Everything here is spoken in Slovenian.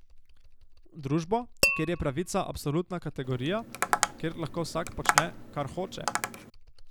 Družbo, kjer je pravica absolutna kategorija, kjer vsak lahko počne, kar hoče?